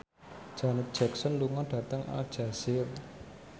Janet Jackson lunga dhateng Aljazair